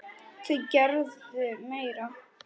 Þau gerðu meira.